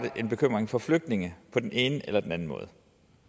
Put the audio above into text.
en bekymring for flygtninge på den eller den anden måde